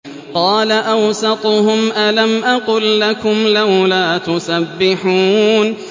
قَالَ أَوْسَطُهُمْ أَلَمْ أَقُل لَّكُمْ لَوْلَا تُسَبِّحُونَ